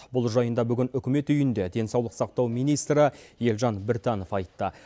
бұл жайында бүгін үкімет үйінде денсаулық сақтау министрі елжан біртанов айтты